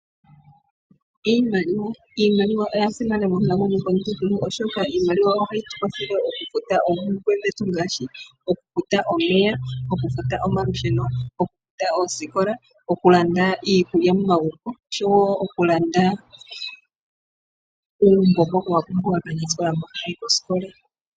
Iimaliwa oya simana monkalamweyo yomuntu kehe, oshoka iimaliwa ohayi kwathele okufuta oompumbwe dhetu, ngaashi okufuta omeya, okufuta omalusheno, okufuta oosikola, okulanda iikulya momagumbo oshowo okulanda uumbo mboka wa pumbiwa kaanasikola mboka haya yi koosikola.